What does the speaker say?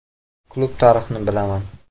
Klub tarixini bilaman.